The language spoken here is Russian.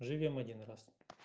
живём один раз